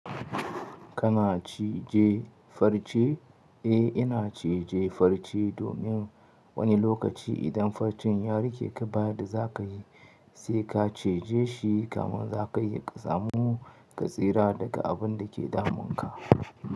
Kana cije farce? Eh ina ciye-ciye farce domin wani lokaci idan farcen ya rike ka bada zaka yi, sai ka cije shi kaman zaka iya samu ka tsira daga abun da ke damun ka.